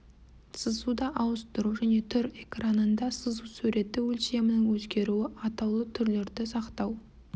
сызуды ауыстыру және түр экранында сызу суреті өлшемінің өзгеруі атаулы түрлерді сақтау